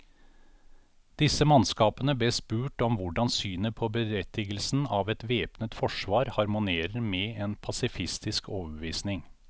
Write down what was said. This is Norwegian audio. Disse mannskapene bes spurt om hvordan synet på berettigelsen av et væpnet forsvar harmonerer med en pasifistisk overbevisning.